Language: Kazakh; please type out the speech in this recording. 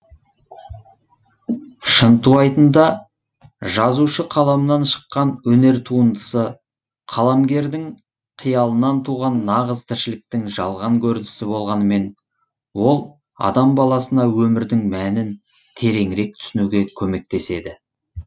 шынтуайтында жазушы қаламынан шыққан өнер туындысы қаламгердің қиялынан туған нағыз тіршіліктің жалған көрінісі болғанымен ол адам баласына өмірдің мәнін тереңірек түсінуге көмектеседі